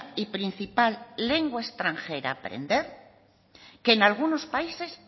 y principal lengua extranjera a aprender que en algunos países